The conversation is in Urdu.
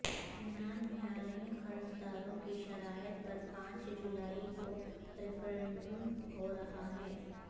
یونان میں عالمی قرض داروں کی شرائط پر پانچ جولائی کو ریفرینڈم ہو رہا ہے